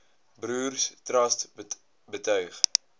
broers trust betuig